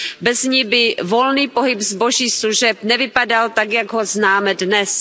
Bez ní by volný pohyb zboží a služeb nevypadal tak, jak ho známe dnes.